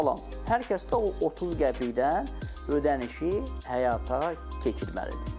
Hər kəsdə o 30 qəpikdən ödənişi həyata keçirməlidir.